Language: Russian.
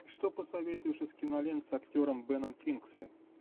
что посоветуешь из кинолент с актером беном кингсли